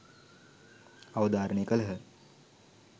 අවධාරණය කළහ.